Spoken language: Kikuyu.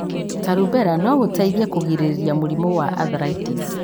ta rubella no gũteithie kũgirĩrĩria mũrimũ wa arthritis.